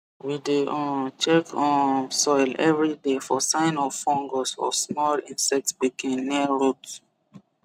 we dey um check um soil every day for sign of fungus or small insect pikin near root